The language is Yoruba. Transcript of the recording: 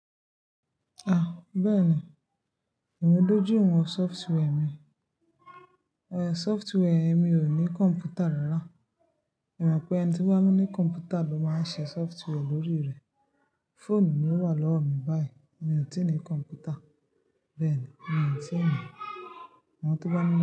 Ah! Bẹ́ẹ̀ ni, èmi dójú ìwọ̀n software mi. Software mi ò ní kọ̀m̀pútà rárá. Èmi mọ̀ pé ẹni tí ó bá ní kọ̀m̀pútà ló máa ń ṣe software lórí rẹ̀. Fóònù mi ó wà lọ́wọ́ mi báyìí. Èmi ò tí ì ní kọ̀m̀pútà. Bẹ́ẹ̀ ni, èmi ò tí ì ni Àwọn tó bá ní.